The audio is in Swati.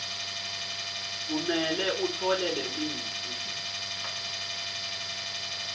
kumele utfole lemitsi